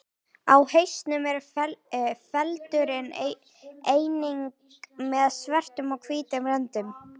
Á hausnum er feldurinn einnig með svörtum og hvítum röndum.